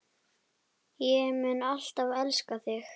Ég mun alltaf elska þig.